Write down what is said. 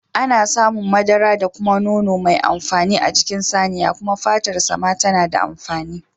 Ana samun madara da kuma nono mai amfani a jikin saniya kuma fatar sa ma tana da amfani